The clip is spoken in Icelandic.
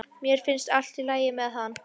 Mér finnst allt í lagi með hann.